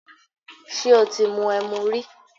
Ṣé o ti mu ẹmu rí?